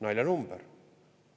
Naljanumber!